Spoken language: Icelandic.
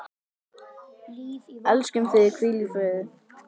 Elskum þig, hvíl í friði.